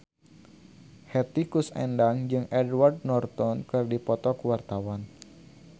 Hetty Koes Endang jeung Edward Norton keur dipoto ku wartawan